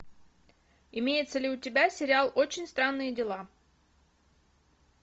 имеется ли у тебя сериал очень странные дела